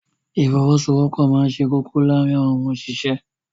Ìfọwọ́sowọ́pọ̀ máa ṣe kókó láàárín àwọn òṣìṣẹ́.